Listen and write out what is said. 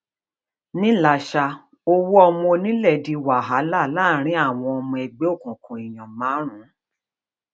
nílasa ọwọ ọmọ onílẹ di wàhálà láàrin àwọn ọmọ ẹgbẹ òkùnkùn èèyàn márùn